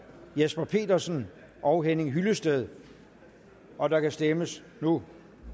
jesper petersen og henning hyllested og der kan stemmes nu